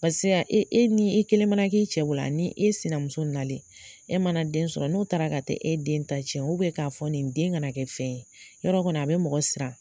e e e ni e kelen mana k'i i cɛ bolo ani e sina muso nalen e mana den sɔrɔ n'o taara ka taa e den ta cɛn k'a fɔ nin den kana kɛ fɛn ye yɔrɔ kɔni a bɛ mɔgɔ siran.